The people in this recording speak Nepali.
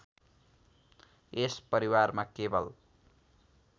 यस परिवारमा केवल